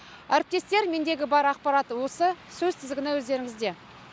әріптестер мендегі бар ақпарат осы сөз тізгіні өздеріңізде